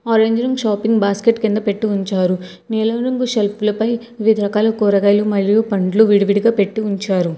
Orange రంగ్ shopping basket కింద పెట్టి ఉంచారు నీలం రంగు షెల్ఫ్లు పై వివిధ రకాల కూరగాయలు మరియు పండ్లు విడి విడి గా పెట్టి ఉంచారు.